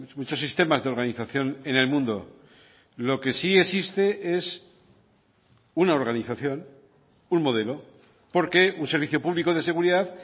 muchos sistemas de organización en el mundo lo que sí existe es una organización un modelo porque un servicio público de seguridad